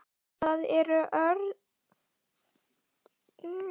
Það eru orð að sönnu.